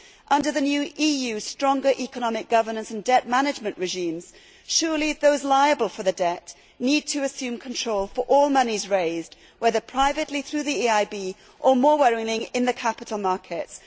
Under the new EU stronger economic governance and debt management regimes, surely those liable for the debt need to assume control for all monies raised, whether privately, through the EIB or, more worryingly, in the capital markets?